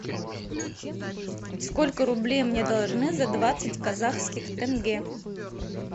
сколько рублей мне должны за двадцать казахских тенге